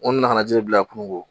N ko na ka ji bila kungo